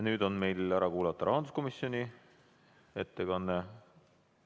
Nüüd tuleb meil ära kuulata rahanduskomisjoni ettekanne.